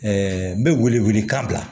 n bɛ wele wele kan bila